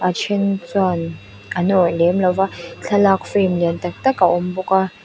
a then chuan an awrh lem lova thlalak frame lian tak tak a awm bawka.